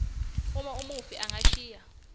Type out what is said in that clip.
uma umufi angashiyi